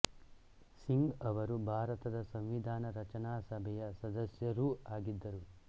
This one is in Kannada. ಸಿಂಗ್ ಅವರು ಭಾರತದ ಸಂವಿಧಾನ ರಚನಾ ಸಭೆಯ ಸದಸ್ಯರೂ ಆಗಿದ್ದರು